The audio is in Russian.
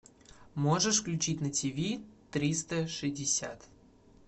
можешь включить на тв триста шестьдесят